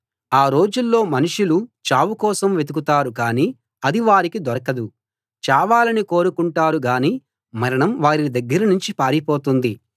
ఆ రోజుల్లో మనుషులు చావుకోసం వెతుకుతారు కానీ అది వారికి దొరకదు చావాలని కోరుకుంటారు గానీ మరణం వారి దగ్గరనుంచి పారిపోతుంది